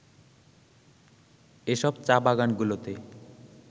এসব চা-বাগানগুলোতে